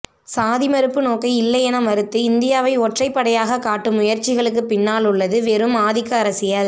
சாதி மறுப்பு நோக்கை இல்லையென மறுத்து இந்தியாவை ஒற்றைப்படையாக காட்டும் முயற்சிகளுக்குப்பின்னாலுள்ளது வெறும் ஆதிக்க அரசியல்